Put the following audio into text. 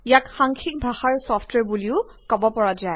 ইয়াক সাংখ্যিক ভাষাৰ ছফ্টৱেৰ বুলিও কব পৰা যায়